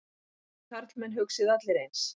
Þið karlmenn hugsið allir eins.